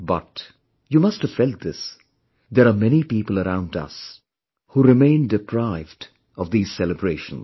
But... you must have felt this... there are many people around us who remain deprived of these celebrations